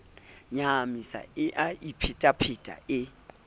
nyahamisa e a iphetapheta e